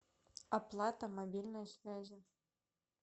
оплата мобильной связи